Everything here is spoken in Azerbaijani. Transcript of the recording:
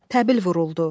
Təbil vuruldu.